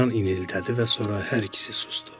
İlan inildədi və sonra hər ikisi susdu.